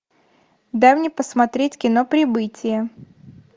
дай мне посмотреть кино прибытие